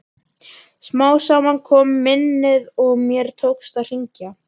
Smám saman kom minnið og mér tókst að hringja.